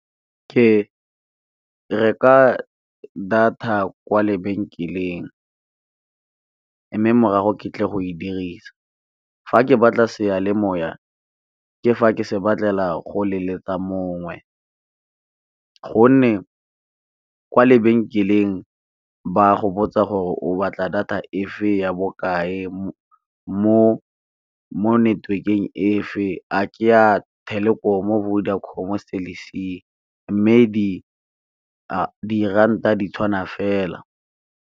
Ke reka data kwa lebenkeleng mme morago ke tlile go e dirisa, fa ke batla seyalemoya ke fa ke se batlela go leletsa mongwe, gonne ka kwa lebenkeleng ba go botsa gore o batla data fe ya bokae mo network-eng efe a ke ya Telkom, Vodacom, Celc mme diranta di tshwana fela.